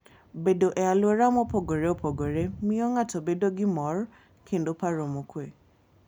Bedo e alwora mopogore opogre miyo ng'ato bedo gi mor kendo paro mokuwe.